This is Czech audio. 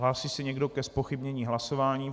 Hlásí se někdo ke zpochybnění hlasování?